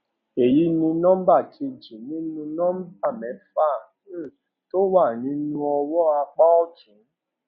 èyí ni nọmbà kejì nínú nọmbà mẹfà um tó wà ní ọwọn apá òtún